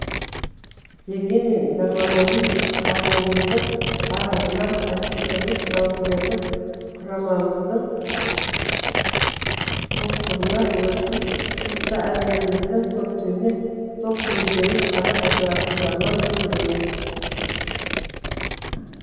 дегенмен заманауи қаруымыздың барлығына офицерлік жауынгерлік құрамымыздың толықтығына өршіл рухты әндеріміздің көптігіне тоқмейілденіп қарап отыратын заман бұл емес